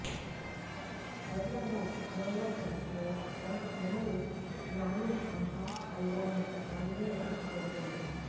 Hyderabad Novotel లోఇంతకుముందు Nani Aha Kalyanam audio launch జరిగింది